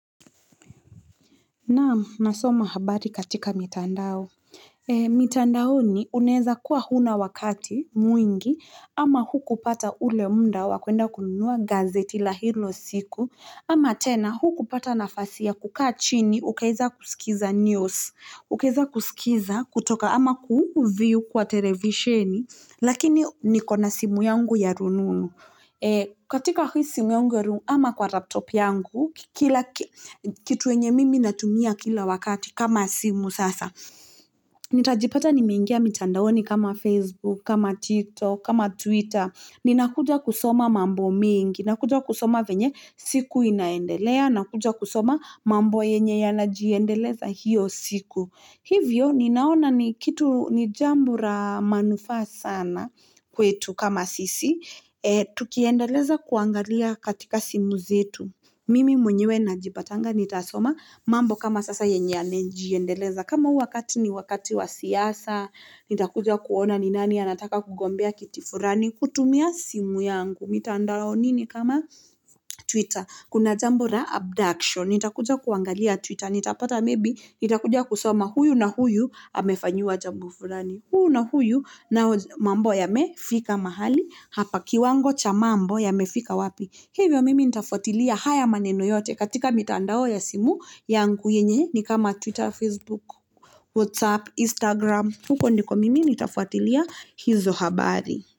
Naam, nasoma habari katika mitandao. Mitandaoni uneza kuwa huna wakati, mwingi, ama hukupata ule muda wa kuenda kununua gazeti la hilo siku, ama tena hukupata nafasi ya kukaa chini ukaweza kusikiza news, ukaweza kusikiza kutoka ama ku view kwa televishini, lakini nikona simu yangu ya rununu. Katika hii simu yangu ya rununu, ama kwa laptop yangu, kitu yenye mimi natumia kila wakati kama simu sasa. Nitajipata nimengia mitandaoni kama Facebook, kama Tiktok, kama Twitter. Ninakuja kusoma mambo mingi, na kuja kusoma venye siku inaendelea, nakuja kusoma mambo yenye yanajiendeleza hiyo siku. Hivyo, ninaona ni kitu ni jambo la manufaa sana, kwetu kama sisi. Tukiendeleza kuangalia katika simu zetu. Mimi mwenyewe najipatanga nitasoma mambo kama sasa yenye yalijiendeleza. Kama wakati ni wakati wa siasa, nitakuja kuona ni nani anataka kugombea kiti fulani, kutumia simu yangu. Mitandaoni kama Twitter? Kuna jambo la abduction. Nitakuja kuangalia Twitter, nitapata maybe, nitakuja kusoma huyu na huyu amefanyiwa jambo fulani. Huyu na huyu nao mambo yamefika mahali hapa, kiwango cha mambo yamefika wapi. Hivyo mimi nitafuatilia haya maneno yote katika mitandao ya simu yangu yenye ni kama Twitter, Facebook, WhatsApp, Instagram. Huko ndiko mimi nitafuatilia hizo habari.